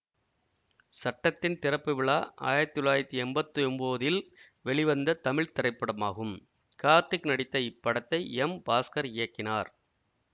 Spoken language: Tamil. சட்டத்தின் திறப்பு விழா ஆயிரத்தி தொள்ளாயிரத்தி எம்பத்தி ஒன்போதில் வெளிவந்த தமிழ் திரைப்படமாகும் கார்த்திக் நடித்த இப்படத்தை எம் பாஸ்கர் இயக்கினார்